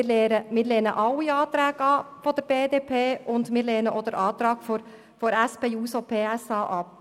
Wir lehnen alle Anträge der BDP und auch den Antrag der SP-JUSO-PSA-Fraktion ab.